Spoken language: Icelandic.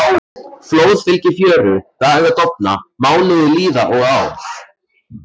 Flóð fylgir fjöru, dagar dofna, mánuðir líða og ár.